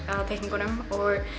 að teikningunum ég